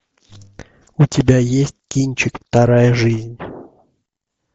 у тебя есть кинчик вторая жизнь